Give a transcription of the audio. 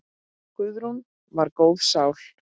Guðrún var góð sál.